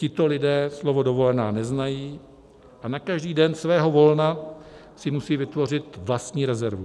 Tito lidé slovo dovolená neznají a na každý den svého volna si musejí vytvořit vlastní rezervu.